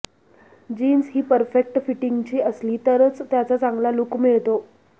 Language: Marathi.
जीन्स ही परफेक्ट फिटिंगची असली तरच त्याचा चांगला लुक मिळतो